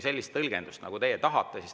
Sellist tõlgendust te tahate.